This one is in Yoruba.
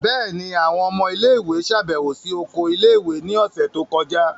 Bẹẹni, awọn ọmọ ile-iwe ṣabẹwo si oko ile-iwe ni ọsẹ to kọja.